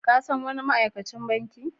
Ka san wani ma'aikacin banki?